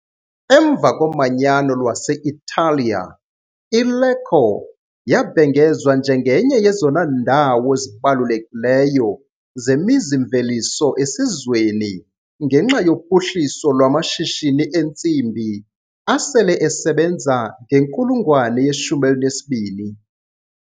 Emva koManyano lwase-Italiya, iLecco yabhengezwa njengenye yezona ndawo zibalulekileyo zemizi-mveliso esizweni ngenxa yophuhliso lwamashishini entsimbi, asele esebenza ngenkulungwane ye-12.